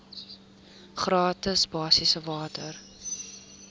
gratis basiese water